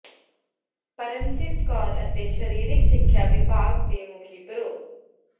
ਪਰਮਜੀਤ ਕੌਰ ਅਤੇ ਸਰੀਰਿਕ ਸਿੱਖਿਆ ਵਿਭਾਗ ਦੇ ਮੁਖੀ ਪ੍ਰੋ